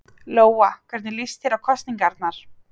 Lóa: Hvernig líst þér á kosningarnar?